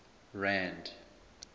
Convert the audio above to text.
rand